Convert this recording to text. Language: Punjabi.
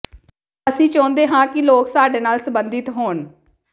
ਅਸੀਂ ਚਾਹੁੰਦੇ ਹਾਂ ਕਿ ਲੋਕ ਸਾਡੇ ਨਾਲ ਸੰਬੰਧਤ ਹੋਣ